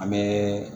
An bɛ